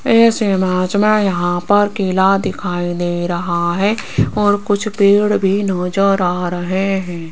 इस इमेज में यहां पर किला दिखाई दे रहा है और कुछ पेड़ भी नजर आ रहे हैं।